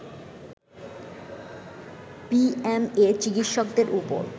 BMA চিকিৎসকদের ওপর